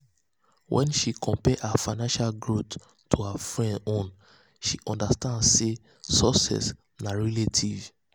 wen she compare her financial growth to her friends own she understand sey success na relative.